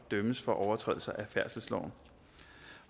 dømmes for overtrædelser af færdselsloven